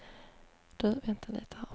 Man måste också kunna tolka tecken rätt.